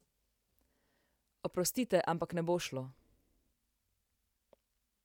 Oprostite, ampak ne bo šlo!